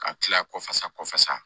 Ka tila kɔfasa kɔfasa